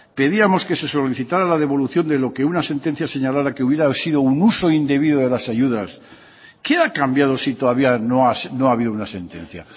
pedíamos que se solicitara la devolución de lo que una sentencia señalara que hubiera sido un uso indebido de las ayudas qué ha cambiado si todavía no ha habido una sentencia